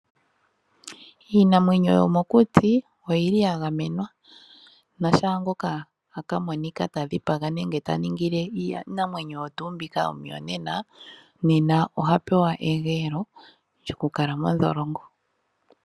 Iinamwwenyo yomokuti oyi li yagamenwa, ano shaangoka taka monikwa tadhiga nenge ta ningile iinamwe oyo tuu mbyoka omuyonena, nena oha pewa egeyelo lyoku kala mondholongo.